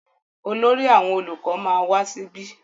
Olórí àwọn olùkọ ma wá síbí.